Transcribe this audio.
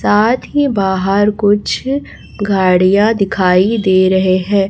साथ ही बाहर कुछ गाड़ियां दिखाई दे रहे हैं।